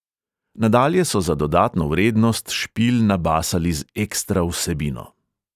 Nadalje so za dodatno vrednost špil nabasali z ekstra vsebino.